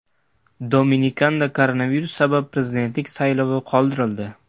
Dominikanda koronavirus sabab prezidentlik saylovlari qoldirildi .